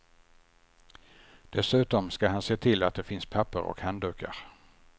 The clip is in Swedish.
Dessutom ska han se till att det finns papper och handdukar.